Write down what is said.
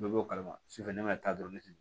Dɔ b'o kalama su fɛ ne ma taa dɔrɔn ne